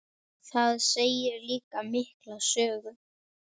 Það segir líka mikla sögu.